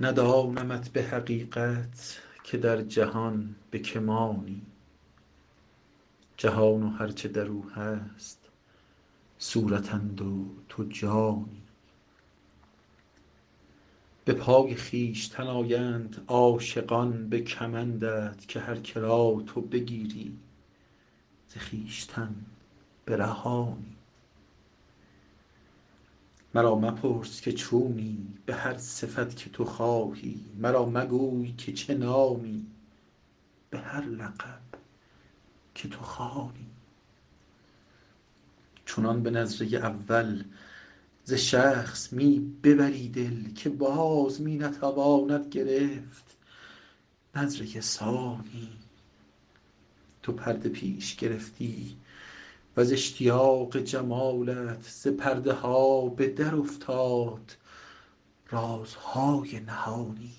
ندانمت به حقیقت که در جهان به که مانی جهان و هر چه در او هست صورتند و تو جانی به پای خویشتن آیند عاشقان به کمندت که هر که را تو بگیری ز خویشتن برهانی مرا مپرس که چونی به هر صفت که تو خواهی مرا مگو که چه نامی به هر لقب که تو خوانی چنان به نظره اول ز شخص می ببری دل که باز می نتواند گرفت نظره ثانی تو پرده پیش گرفتی و ز اشتیاق جمالت ز پرده ها به درافتاد رازهای نهانی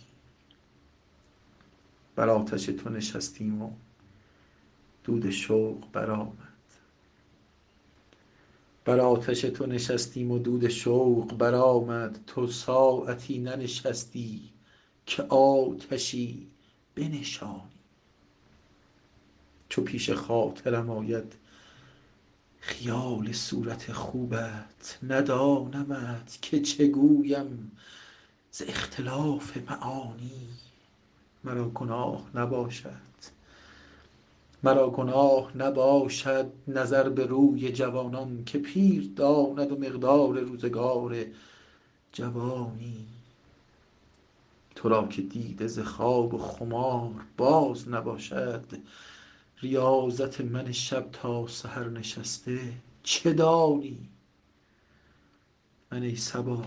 بر آتش تو نشستیم و دود شوق برآمد تو ساعتی ننشستی که آتشی بنشانی چو پیش خاطرم آید خیال صورت خوبت ندانمت که چه گویم ز اختلاف معانی مرا گناه نباشد نظر به روی جوانان که پیر داند مقدار روزگار جوانی تو را که دیده ز خواب و خمار باز نباشد ریاضت من شب تا سحر نشسته چه دانی من ای صبا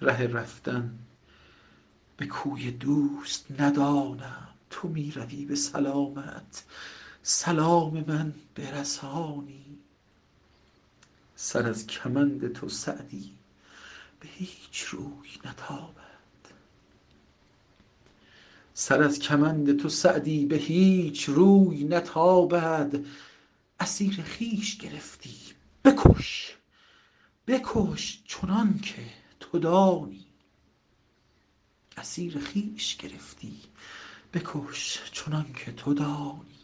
ره رفتن به کوی دوست ندانم تو می روی به سلامت سلام من برسانی سر از کمند تو سعدی به هیچ روی نتابد اسیر خویش گرفتی بکش چنان که تو دانی